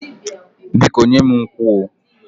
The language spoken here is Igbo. Biko nye m nkwụ oh